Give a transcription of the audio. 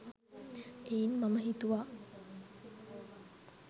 එයින් මම හිතුවා